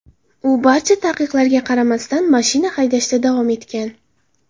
U barcha taqiqlarga qaramasdan, mashina haydashda davom etgan.